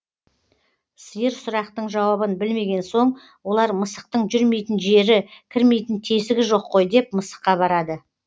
сиыр сұрақтың жауабын білмеген соң олар мысықтың жүрмейтін жері кірмейтін тесігі жоқ қой деп мысыққа барады